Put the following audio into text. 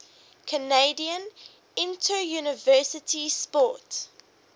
canadian interuniversity sport